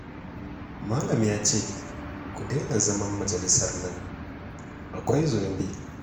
Malam ya ce ku daina zaman majalisar nan, akwai zunubi